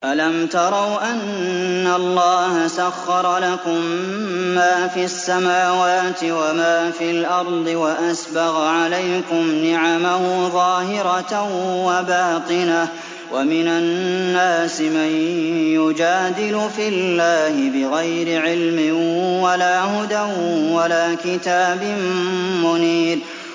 أَلَمْ تَرَوْا أَنَّ اللَّهَ سَخَّرَ لَكُم مَّا فِي السَّمَاوَاتِ وَمَا فِي الْأَرْضِ وَأَسْبَغَ عَلَيْكُمْ نِعَمَهُ ظَاهِرَةً وَبَاطِنَةً ۗ وَمِنَ النَّاسِ مَن يُجَادِلُ فِي اللَّهِ بِغَيْرِ عِلْمٍ وَلَا هُدًى وَلَا كِتَابٍ مُّنِيرٍ